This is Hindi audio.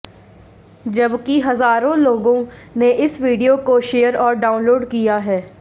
जबकि हजारों लोगों ने इस वीडियो को शेयर और डाउनलोड किया है